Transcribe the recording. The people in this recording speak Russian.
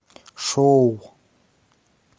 шоу